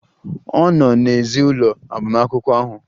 Ọ nọ n'èzí ụlọ agbamakwụkwọ ahụ.